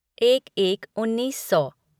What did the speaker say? एक एक उन्नीस सौ